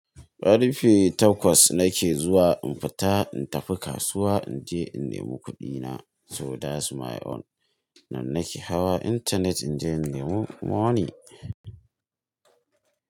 Ƙarfe takwas nake zuwa in fita in tafi kasuwa in je in nemo kuɗina, so dat's my own. Nan nake hawa intanet in je in nemi money.